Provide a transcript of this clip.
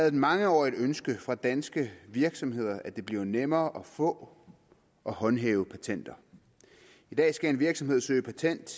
et mangeårigt ønske fra danske virksomheder at det bliver nemmere at få og håndhæve patenter i dag skal en virksomhed søge patent